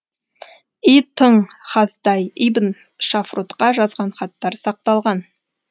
и тың хасдай ибн шафрутқа жазған хаттары сақталған